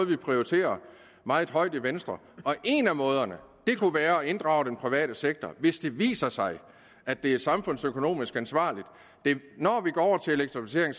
vi prioriterer meget højt i venstre og en af måderne kunne være at inddrage den private sektor hvis det viser sig at det er samfundsøkonomisk ansvarligt når vi går over til elektrificering